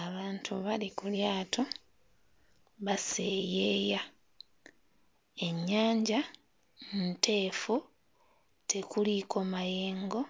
Abantu bali ku lyato baseeyeeya, ennyanja nteefu tekuliiko mayengo